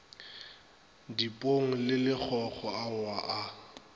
dipong le lekgokgo aowa a